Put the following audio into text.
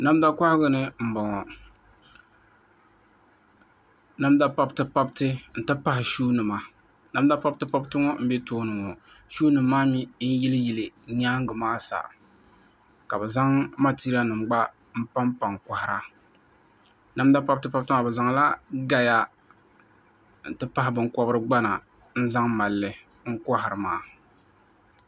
Namda kohagu ni n bɔŋɔ namda pabiti pabiti n ti pahi shuu nima namda pabiti pabiti ŋɔ n bɛ tooni ŋɔ shuu nim maa mii n yili yili nyaangi maa sa ka bi zaŋ matiriya nim gba n panpa n kohara namda pabiti pabiti maa bi zaŋla gaya n ti pahi binkobiri gbana n pahi malli n kohari maa